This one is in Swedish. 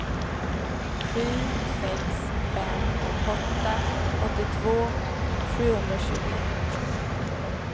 sju sex fem åtta åttiotvå sjuhundratjugoett